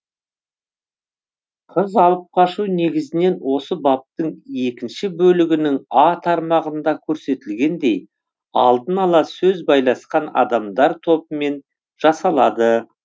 қыз алып қашу негізінен осы баптың екінші бөлігінің а тармағында көрсетілгендей алдын ала сөз байласқан адамдар тобымен жасалады